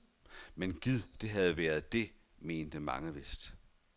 Men gid det havde været det, mente mange vist.